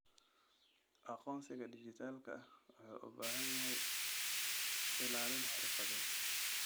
Aqoonsiga dhijitaalka ah wuxuu u baahan yahay ilaalin xirfadeed.